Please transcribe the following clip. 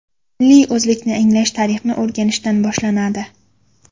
Milliy o‘zlikni anglash tarixni o‘rganishdan boshlanadi.